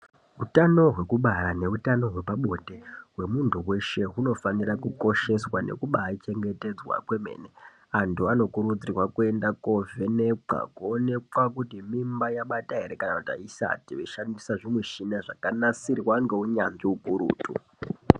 Utano hwekubara neutano hwepabonde hwemuntu weshe unofanira kukosheswa nekubaachengetedzwa kwemene. Aantu anokururdzirwa kuenda koovhenekwa kuona kuti mimba yabata ere kana kuti aisati veishandisa zvimishina zvakanasirwa ngeunyanzvi ukurutu.